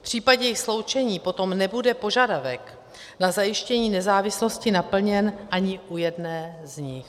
V případě jejich sloučení potom nebude požadavek na zajištění nezávislosti naplněn ani u jedné z nich.